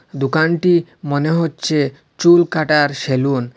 দোকানটি মনে হচ্ছে চুলকাটার সেলুন।